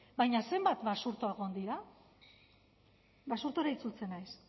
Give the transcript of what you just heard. baina zenbat basurto egon dira basurtura itzultzen naiz